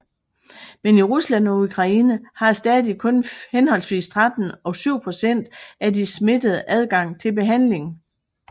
Men i Rusland og Ukraine har stadig kun henholdsvis 13 og 7 procent af de smittede adgang til behandling